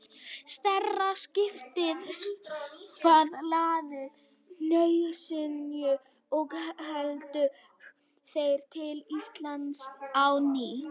Stærra skipið var hlaðið nauðsynjum og héldu þeir til Íslands á ný.